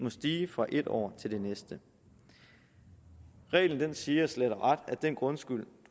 stige fra et år til det næste reglen siger slet og ret at den grundskyld